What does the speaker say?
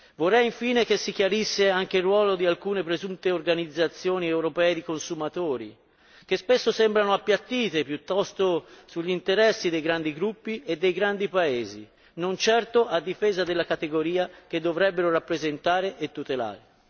Vorrei infine che si chiarisse anche il ruolo di alcune presunte organizzazioni europee di consumatori, che spesso sembrano appiattite piuttosto sugli interessi dei grandi gruppi e dei grandi paesi, non certo a difesa della categoria che dovrebbero rappresentare e tutelare.